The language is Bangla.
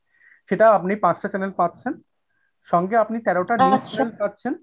সেটাও আপনি পাঁচটা channel পাচ্ছেন সঙ্গে আপনি তেরোটা news channel পাচ্ছেন।